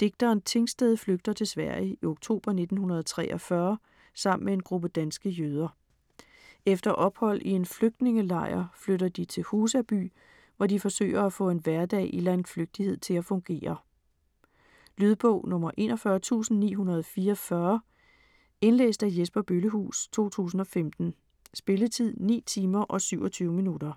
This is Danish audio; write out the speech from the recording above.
Digteren Tingsted flygter til Sverige i oktober 1943 sammen med en gruppe danske jøder. Efter ophold i en flygtningelejr flytter de til Husaby, hvor de forsøger at få en hverdag i landflygtighed til at fungere. Lydbog 41944 Indlæst af Jesper Bøllehuus, 2015. Spilletid: 9 timer, 27 minutter.